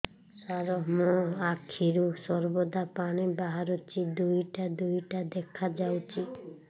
ସାର ମୋ ଆଖିରୁ ସର୍ବଦା ପାଣି ବାହାରୁଛି ଦୁଇଟା ଦୁଇଟା ଦେଖାଯାଉଛି